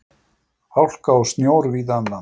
Hálka og snjór víða um land